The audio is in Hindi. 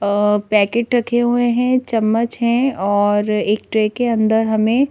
अ पैकेट रखे हुए हैं चम्मच है और एक ट्रे के अंदर हमें--